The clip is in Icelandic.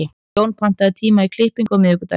Jón, pantaðu tíma í klippingu á miðvikudaginn.